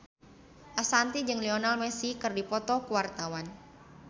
Ashanti jeung Lionel Messi keur dipoto ku wartawan